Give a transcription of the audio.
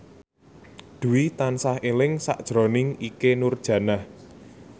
Dwi tansah eling sakjroning Ikke Nurjanah